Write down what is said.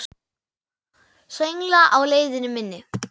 Söngla á leið minni.